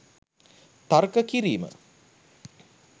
තර්ක කිරීම